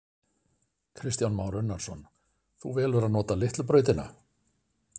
Kristján Már Unnarsson: Þú velur að nota litlu brautina?